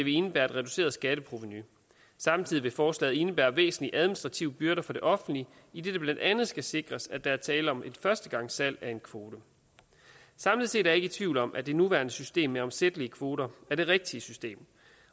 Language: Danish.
indebære et reduceret skatteprovenu samtidig vil forslaget indebære væsentlige administrative byrder for det offentlige idet det blandt andet skal sikres at der er tale om et førstegangssalg af en kvote samlet set er jeg ikke tvivl om at det nuværende system med omsættelige kvoter er det rigtige system